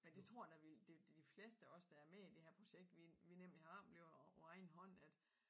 Men det tror jeg da vi det det de fleste af os der er med i det her projekt vi vi nemlig har oplevet på egen hånd at